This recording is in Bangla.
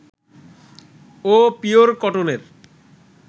ও পিওর কটনের